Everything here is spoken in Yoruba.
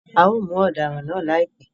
A o mu odaran náà laipẹ